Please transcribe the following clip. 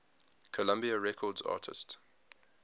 columbia records artists